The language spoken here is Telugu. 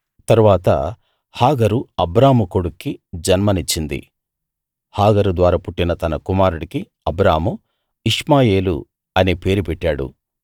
తరువాత హాగరు అబ్రాము కొడుక్కి జన్మనిచ్చింది హాగరు ద్వారా పుట్టిన తన కుమారుడికి అబ్రాము ఇష్మాయేలు అనే పేరు పెట్టాడు